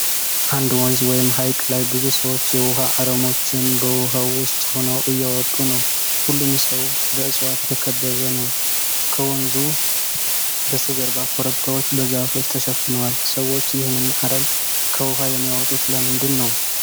አንድ ወንዝ ወይም ሐይቅ ላይ ብዙ ሰዎች የውሃ አረሞችን በውሃው ውስጥ ሆነው እያወጡ ነው። ሁሉም ሰው በእፅዋት የተከበበ ነው። ከወንዙ በስተጀርባ ኮረብታዎች በዛፎች ተሸፍነዋል። ሰዎች ይህንን አረም ከውሃው የሚያወጡት ለምንድን ነው?